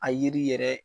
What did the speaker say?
A yiri yɛrɛ